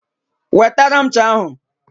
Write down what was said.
Wetara m ncha ahụ